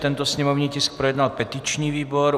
Tento sněmovní tisk projednal petiční výbor.